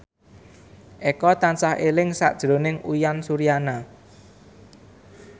Eko tansah eling sakjroning Uyan Suryana